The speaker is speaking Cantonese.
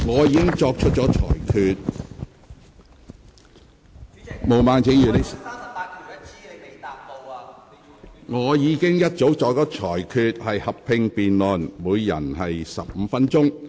本會會就修改《議事規則》的議案進行合併辯論，每位議員可發言15分鐘。